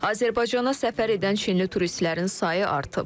Azərbaycana səfər edən Çinli turistlərin sayı artıb.